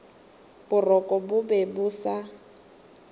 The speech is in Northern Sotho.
boroko bo be bo sa